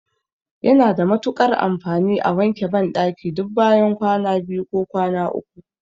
Yana da matuƙar amfani a wanke banɗaki duk bayan kwana biyu ko kwana uku.